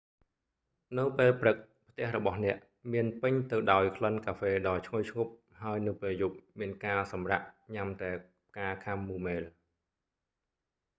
នៅពេលព្រឹកផ្ទះរបស់អ្នកមានពេញទៅដោយក្លិនកាហ្វេដ៏ឈ្ងុយឈ្ងុប ហើយនៅពេលយប់មានការសម្រាក់ញ៉ាំតែផ្កាខាំមូមែល